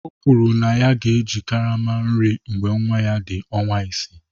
O kwuru na ya ga-eji karama nri mgbe nwa ya dị ọnwa isii